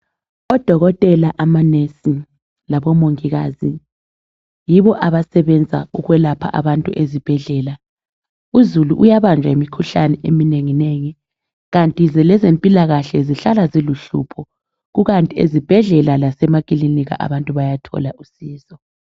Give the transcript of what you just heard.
Odokotela amanesi labomongikazi yibo abasebenza ukwelapha abantu ezibhedlela uzulu uyabanjwa yimikhuhlane eminenginengi kanti lezempilakahle zihlala ziluhlupho kukanti ezibhedlela lasemakilinika abantu bayathola usizo.